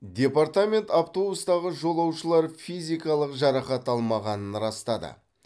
департамент автобустағы жолаушылар физикалық жарақат алмағанын растады